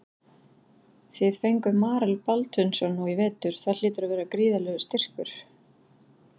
Þið fenguð Marel Baldvinsson nú í vetur það hlýtur að vera gríðarlegur styrkur?